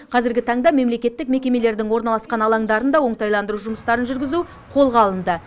қазіргі таңда мемлекеттік мекемелердің орналасқан алаңдарын да оңтайландыру жұмыстарын жүргізу қолға алынды